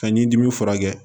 Ka ɲi dimi furakɛ